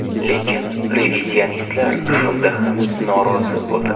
Lekin revizionistlar shunda ham norozi bo‘ldi.